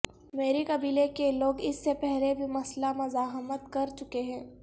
مری قبیلے کے لوگ اس سے پہلے بھی مسلح مزاحمت کر چکے ہیں